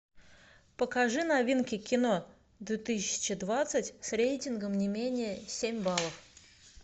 покажи новинки кино две тысячи двадцать с рейтингом не менее семь баллов